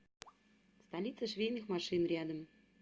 столица швейных машин рядом